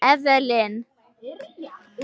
Evelyn